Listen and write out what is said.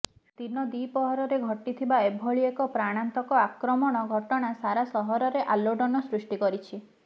ଦିନ ଦିପହରରେ ଘଟିଥିବା ଏଭଳି ଏକ ପ୍ରାଣାନ୍ତକ ଆକ୍ରମଣ ଘଟଣା ସାରା ସହରରେ ଆଲୋଡ଼ନ ସୃଷ୍ଟି କରିଛି